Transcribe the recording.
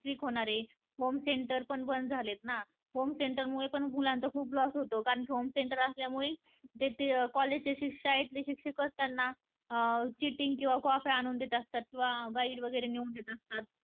fix होणारे, home center पण बंद होणारे ना. home center मुले पण मुलांना खूप loss होतो. कारण की home center असल्यामुळे त्याच्या college चे शिक्षक पण त्यांना cheating किंवा कॉप्या आणून देत असतात किंवा guide वगैरे नेऊन देत असतात